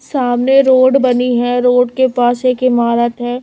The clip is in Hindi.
सामने रोड बनी है रोड के पास एक इमारत है।